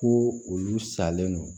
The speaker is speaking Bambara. Ko olu salen don